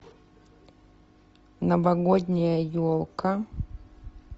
новогодняя елка